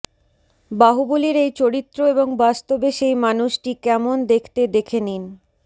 বাহুবলীর এই চরিত্র এবং বাস্তবে সেই মানুষটি কেমন দেখতে দেখে নিন